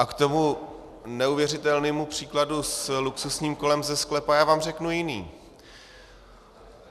A k tomu neuvěřitelnému příkladu s luxusním kolem ze sklepa, já vám řeknu jiný.